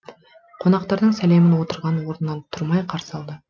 қонақтардың сәлемін отырған орнынан тұрмай қарсы алды